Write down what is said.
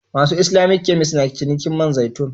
Masu Islamic kemis na cinikin man zaitun.